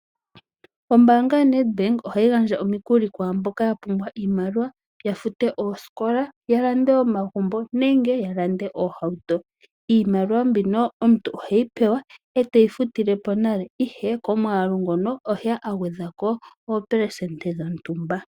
Ombanga yoNedbank ohayi gandja omikuli kaantu mboka yapumbwa iimaliwa yafute oosikola, yalande omagumbo, yalande oohauto. Iimaliwa mbino omuntu oheyi pewa ee teyi futilepo nale ihe komwaalu ngono oheya agwedhako oopelesende dhontumba.